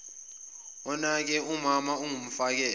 onake umama ongumfakela